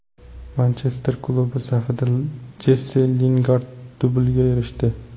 Manchester klubi safida Jessi Lingard dublga erishdi.